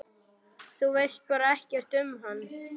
Þú veist bara ekkert um hann?